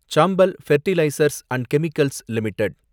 சாம்பல் fertilisers and chemicals limited